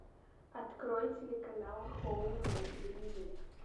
открой телеканал хоум на телевизоре